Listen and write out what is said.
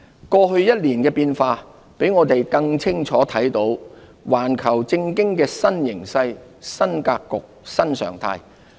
過去一年的變化，讓我們更清楚看到環球政經的新形勢、新格局、新常態。